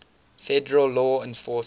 federal law enforcement